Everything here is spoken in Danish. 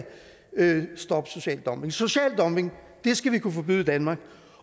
stoppe social dumping social dumping skal vi kunne forbyde i danmark